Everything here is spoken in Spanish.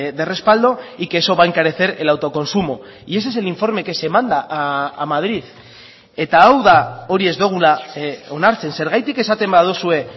de respaldo y que eso va a encarecer el autoconsumo y ese es el informe que se manda a madrid eta hau da hori ez dugula onartzen zergatik esaten baduzue